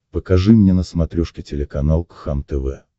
покажи мне на смотрешке телеканал кхлм тв